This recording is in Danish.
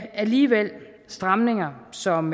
alligevel stramninger som